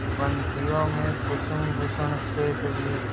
पंक्तियों में कुसुमभूषण से सजी